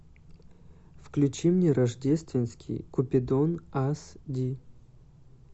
включи мне рождественский купидон ас ди